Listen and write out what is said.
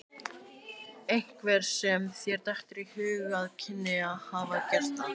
Einhver sem þér dettur í hug að kynni að hafa gert það?